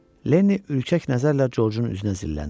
Leni ürkək nəzərlə Corcun üzünə zilləndi.